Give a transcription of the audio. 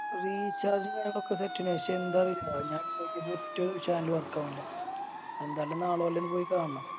Recharge ഉം കാര്യങ്ങളൊക്കെ Set ആണ് പക്ഷെ എന്താ വേര ഞാൻ On ചെയ്ത ഒറ്റ Channel ഉ Work ആവുന്നില്ല എന്തായാലും നാളെ വല്ലോം പോയെന്ന് കാണണം